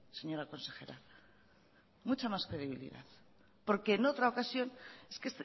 señora consejera mucha más credibilidad porque en otra ocasión es que